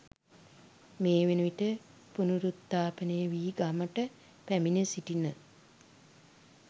මේවන විට පුනරුත්ථාපනය වී ගමට පැමිණ සිටින